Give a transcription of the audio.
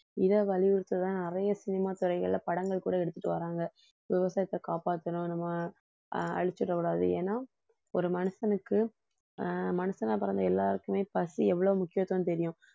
இதை வலியுறுத்ததான் நிறைய சினிமா துறைகள்ல படங்கள் கூட எடுத்துட்டு வர்றாங்க விவசாயத்தை காப்பாத்தணும் நம்ம அழிச்சிடக் கூடாது ஏன்னா ஒரு மனுஷனுக்கு ஆஹ் மனுஷனா பிறந்த எல்லாருக்குமே பசி எவ்வளவு முக்கியத்துவம் தெரியும்